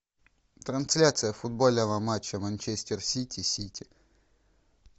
трансляция футбольного матча манчестер сити сити